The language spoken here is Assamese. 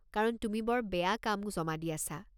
কাৰণ তুমি বৰ বেয়া কাম জমা দি আছা।